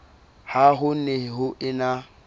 ha ho ne ho ena